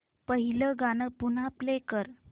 पहिलं गाणं पुन्हा प्ले कर